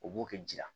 O b'o kɛ ji la